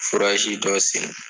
dɔ sen